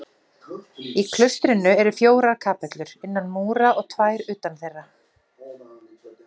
Í klaustrinu eru fjórar kapellur innan múra og tvær utan þeirra.